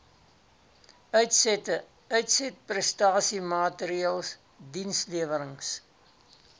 uitsette uitsetprestasiemaatreëls dienslewerings